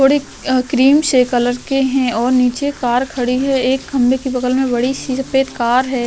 थोड़े क्रीम से कलर के हैं और नीचे कार खड़ी है एक खंभे के बगल में बड़ी सी सफेद कार है।